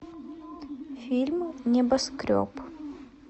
фильм небоскреб